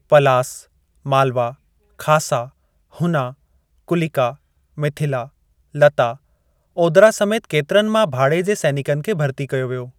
पलास, मालवा, खासा, हुना, कुलिका, मिथिला, लता, ओद्रा समेत केतिरनि मां भाड़े जे सैनिकनि खे भर्ती कयो वियो।